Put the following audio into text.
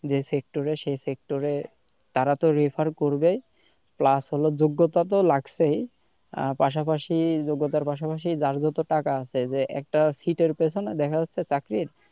যে sector এ সে sector এ তারা তো refer করবেই plus হলো যোগ্যতা তো লাগছেই আহ পাশাপাশি যোগ্যতার পাশাপাশি যার যত টাকা আছে যে একটা seat এর পিছনে দেখা যাচ্ছে চাকরির,